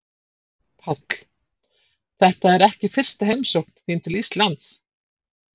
Páll: Þetta er ekki fyrsta heimsókn þín til Íslands?